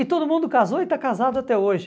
E todo mundo casou e está casado até hoje.